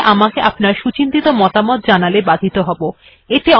এই বিষয় আমাকে আপনার সুচিন্তিত মতামত জানালে বাধিত হব